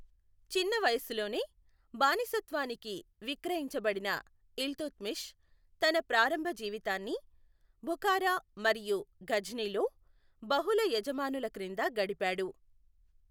చిన్న వయస్సులోనే బానిసత్వానికి విక్రయించబడిన ఇల్తుత్మిష్ తన ప్రారంభ జీవితాన్ని బుఖారా మరియు ఘజ్నీలో బహుళ యజమానుల క్రింద గడిపాడు.